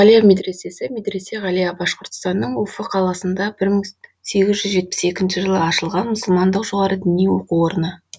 ғалия медресесі медресе ғалия башқұртстанның уфы қаласында бір мың сегіз жүз жетпіс екінші жылы ашылған мұсылмандық жоғары діни оқу орны